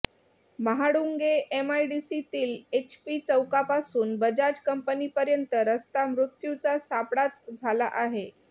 महाळूंगे एमआयडीसीतील एचपी चौकापासून बजाज कंपनीपर्यंत रस्ता मृत्यूचा सापळाच झाला आहे